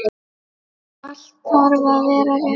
Allt þarf að vera rétt.